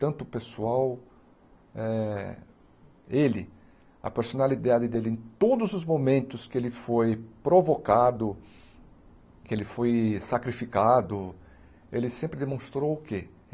Tanto o pessoal, ele, a personalidade dele em todos os momentos que ele foi provocado, que ele foi sacrificado, ele sempre demonstrou o quê?